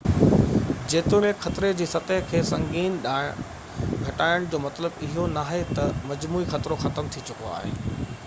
جيتوڻيڪ خطري جي سطح کي سنگين ڏانهن گهٽائڻ جو مطلب اهو ناهي ته مجموعي خطرو ختم ٿي چڪو آهي